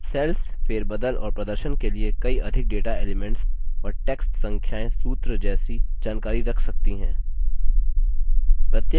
cells फेरबदल और प्रदर्शन के लिए कई अधिक data elements और text संख्याएँ सूत्र जैसी जानकारी रख सकती हैं